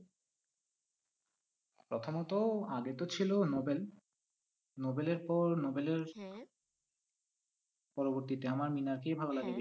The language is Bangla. প্রথমত আগে তো ছিল নোবেল নোবেলের পর নোবেলের পরবর্তীতে আমার মিনারকেই ভালো লাগে